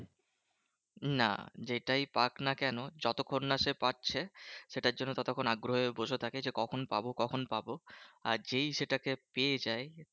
না যেটাই পাক না কেন? যতক্ষণ না সে পাচ্ছে সেটার জন্য ততক্ষন আগ্রহে বসে থাকে যে কখন পাবো কখন পাবো? আর যেই সেটাকে পেয়ে যায়